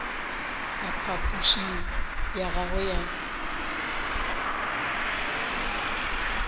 ka phapošing ya gagwe ga